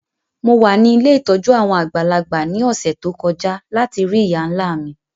Mo wa ni ilé ìtójú àwon àgbàlagbà ni ọ̀ṣẹ̀ to kọja lati rii ìyá-nla mi.